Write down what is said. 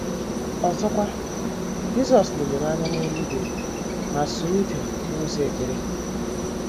Ọzọkwa, Jisọs leliri anya n’eluigwe ma sụọ ude n’ụzọ ekpere.